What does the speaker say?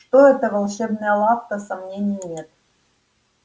что это волшебная лавка сомнений нет